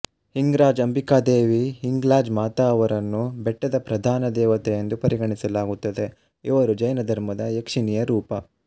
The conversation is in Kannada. ಹಿಂಗ್ರಾಜ್ ಅಂಬಿಕಾದೇವಿ ಹಿಂಗ್ಲಾಜ್ ಮಾತಾ ಅವರನ್ನು ಬೆಟ್ಟದ ಪ್ರಧಾನ ದೇವತೆ ಎಂದು ಪರಿಗಣಿಸಲಾಗುತ್ತದೆ ಇವರು ಜೈನ ಧರ್ಮದ ಯಕ್ಷಿನಿಯ ರೂಪ